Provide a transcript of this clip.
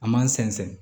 An m'an sɛnsɛn